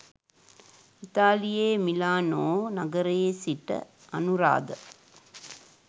ඉතාලියේ Milano නගරයේ සිට අනුරාධ.